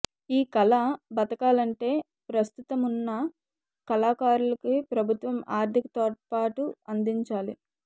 ఈ కళ బతకాలంటే ప్రస్తుతమున్న కళాకారులకి ప్రభుత్వం ఆర్థిక తోడ్పాటు అందించాలి